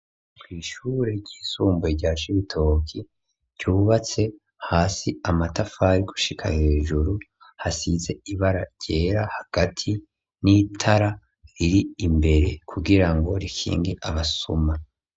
Kw'ishure ry'isumbuye rya cibitoki ryubatse hasi amatafari gushika hejuru hasize ibara ryera hagati n'itara riri imbere kugira ngo rikingi abasuma.